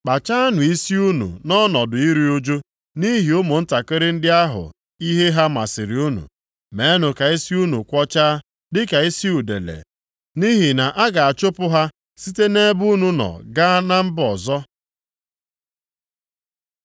Kpachaanụ isi unu nʼọnọdụ iru ụjụ nʼihi ụmụntakịrị ndị ahụ ihe ha masịrị unu, meenụ ka isi unu kwọchaa dịka isi udele, nʼihi na a ga-achụpụ ha site nʼebe unu nọ gaa mba ọzọ.